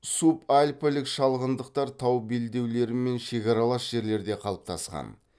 субальпілік шалғындықтар тау белдеулерімен шекаралас жерлерде қалыптасқан